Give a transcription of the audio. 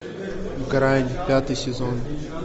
грань пятый сезон